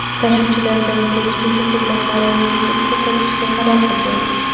Tashuvchilardan ko‘pchiligi xizmatlarini tekin ko‘rsatishga qaror qilgan.